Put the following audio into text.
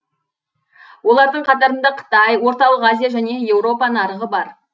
олардың қатарында қытай орталық азия және еуропа нарығы бар